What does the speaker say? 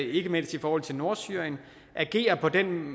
ikke mindst i forhold til nordsyrien agerer på den